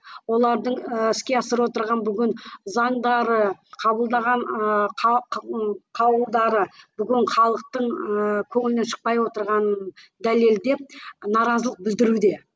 олардың ііі іске асырып отырған бүгін заңдары қабылдаған ыыы бүгін халықтың ыыы көңілінен шықпай отырғанын дәлелдеп наразылық білдіруде